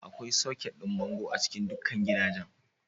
Akwai soket ɗin bango a cikin dukkan gidajen.